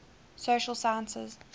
social sciences